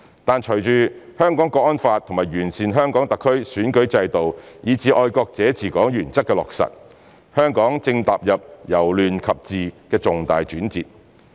但隨着《香港國安法》和完善香港特區選舉制度以至"愛國者治港"原則的落實，香港正踏入由亂及治的重大轉折。